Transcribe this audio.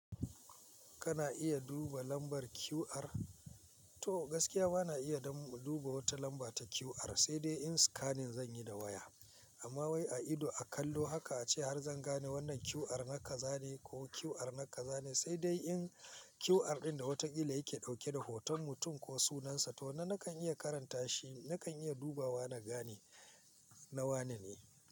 Kana iya duba lambar QR? To gaskiya bana iya dan mu duba wata lamba ta QR, sai dai in scanning zanyi da waya. Amma wai a ido a kallo haka ace har zan gane wannan QR nake zane ko QR nake zane. Sai dai in QR ɗin da watan illa yake ɗauke da hoton mutum ko sunansa, to nan nakan iya karanta shi, nakan iya dubawa na gane na wane ne.